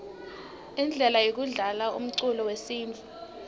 indlele yekudlalaumculo wesintfu